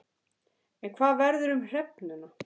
En hvað verður um hrefnuna?